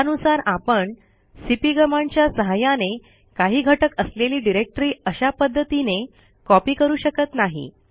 त्यानुसार आपण सीपी कमांडच्या सहाय्याने काही घटक असलेली डिरेक्टरी अशा पध्दतीने कॉपी करू शकत नाही